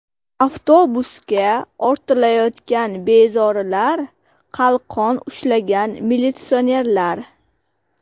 Avtobusga ortilayotgan bezorilar, qalqon ushlagan militsionerlar.